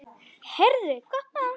Heyrðu, gott mál.